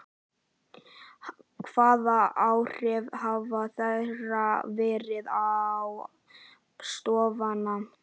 Hvaða áhrif hafa þeirra veiðar á stofnana?